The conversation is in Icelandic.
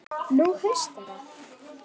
Nú haustar að.